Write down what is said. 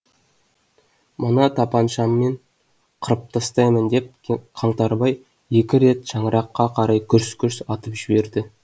мына тапаншаммен қырып тастаймын деп қаңтарбай екі рет шаңыраққа қарай гүрс гүрс атып жіберді